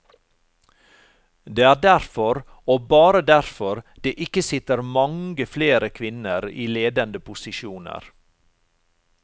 Det er derfor og bare derfor det ikke sitter mange flere kvinner i ledende posisjoner.